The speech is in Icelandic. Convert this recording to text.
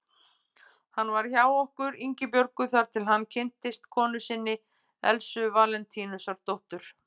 Hann var hjá okkur Ingibjörgu þar til hann kynntist konu sinni, Elsu Valentínusdóttur.